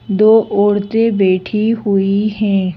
दो औरतें बैठी हुई हैं।